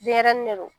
Denɲɛrɛnin de do